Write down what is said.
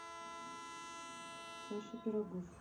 саша пирогов